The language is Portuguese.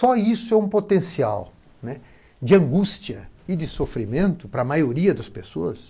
Só isso é um potencial, né, de angústia e de sofrimento para a maioria das pessoas.